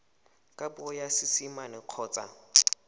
ka puo ya seesimane kgotsa